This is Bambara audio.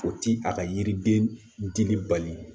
O ti a ka yiriden dili bali